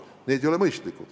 See ei ole mõistlik.